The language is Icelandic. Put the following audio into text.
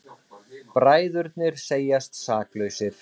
Bræðurnir segjast saklausir